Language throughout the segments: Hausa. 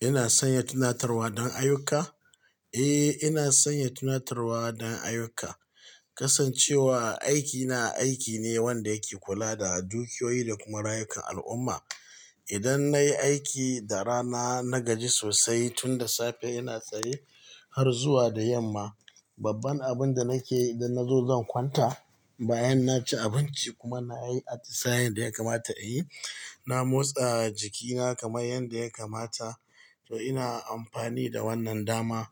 Ina sanya tunatarwa don ayyuka? Eh, ina sanya tunatarwa don ayuka. Kasancewa aiki na, aiki ne wanda yake kula da dukiyoyi da kuma rayukan al'umma. Idan nayi aiki da rana, na gaji sosai tun da safe ina tsaye har zuwa da yamma. Babban abin da nake yi idan nazo zan kwanta, bayan naci abinci kuma nayi atisayen da yakamata a yi. Na motsa jikina kamar yanda yakamata. To ina amfani da wannan dama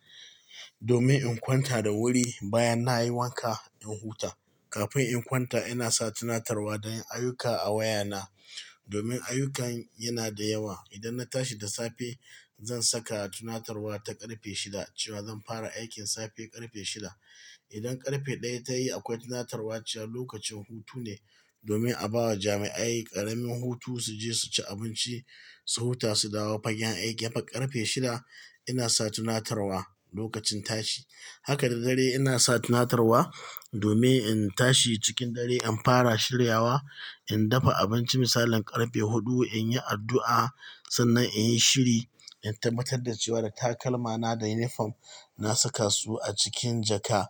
domin in kwanta da wuri. Bayan nayi wanka in huta. Kafin in kwanta ina sa tunatarwa don ayuka a wayana domin ayyukan yana da yawa. Idan na tashi da safe zan saka tunatarwa ta ƙarfe shida cewa zan fara aikin safe ƙarfe shida. Idan ƙarfe ɗaya tayi akwai tunatarwa cewa lokacin hutu ne domin a bawa jami'ai ƙaramin hutu su je su ci abinci, su huta, su dawo fagen aiki. Haka ƙarfe shida ina sa tunatarwa lokacin tashi. Haka da dare ina sa tunatarwa domin in tashi cikin dare in fara shiryawa, in dafa abinci misalin ƙarfe huɗu, in yi addu'a sannan in yi shiri, in tabbatar da cewa da takalmana da uniform na saka su a cikin jaka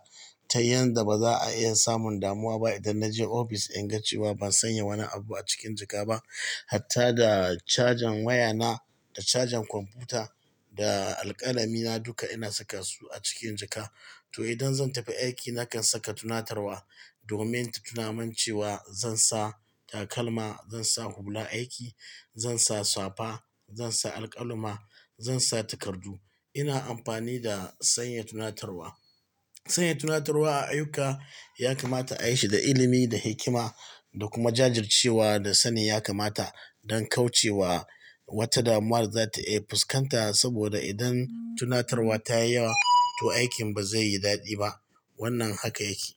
ta yanda ba za'a iya samun damuwa ba idan naje ofis inga cewa ban sanya wani abu a cikin jaka ba. Hatta da cajen wayana, da cajen kwamfuta, da alƙalami na duka ina saka su a cikin jaka. To idan zan tafi aiki nakan saka tunatarwa domin ta tunamin cewa zan sa takalma, zan sa hular aiki, zan sa safa, zan sa alƙalama, zan sa takardu. Ina amfani da sanya tunatarwa. Sanya tunatarwa a ayyuka yakamata ayi shi da ilimi, da hikima da kuma jajircewa da sanin yakamata don kauce wa wata damuwa da zata iya fuskanta. Saboda idan tunatarwa ta yi yawa, to aikin bazai yi daɗi ba. Wannan haka yake.